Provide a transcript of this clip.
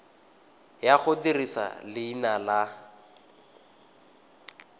ya go dirisa leina la